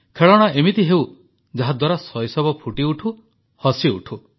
ଖେଳଣା ଏମିତି ହେଉ ଯାହାଦ୍ୱାରା ଶୈଶବ ଫୁଟିଉଠୁ ହସିଉଠୁ